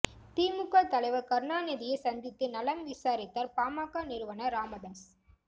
திமுக தலைவர் கருணாநிதியை சந்தித்து நலம் விசாரித்தார் பாமக நிறுவனர் ராமதாஸ்